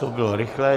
To bylo rychlé.